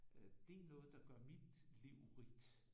Det er noget der gør mit liv rigt